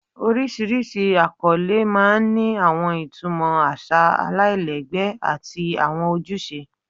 Oríṣiríṣi akọle máa ń ní àwọn ìtumọ̀ àṣà aláìlẹ́gbẹ́ àti àwọn ojúṣe